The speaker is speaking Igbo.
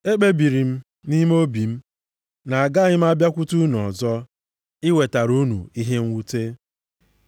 Ekpebiri m nʼime obi m na-agaghị m abịakwute unu ọzọ, iwetara unu ihe mwute.